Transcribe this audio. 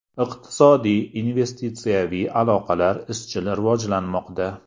Iqtisodiy, investitsiyaviy aloqalar izchil rivojlanmoqda.